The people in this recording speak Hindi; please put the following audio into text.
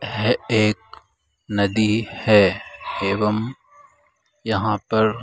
है एक नदी है एवं यहाँ पर --